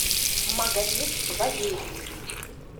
магомед валерьевич